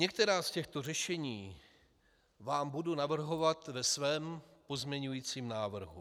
Některá z těchto řešení vám budu navrhovat ve svém pozměňujícím návrhu.